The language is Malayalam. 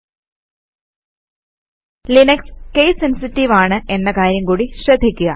httpspoken tutorialorg Linux case sensitive ആണ് എന്ന കാര്യം കൂടി ശ്രദ്ധിക്കുക